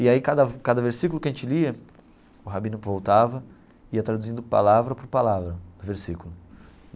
E aí, cada cada versículo que a gente lia, o rabino voltava e ia traduzindo palavra por palavra, versículo.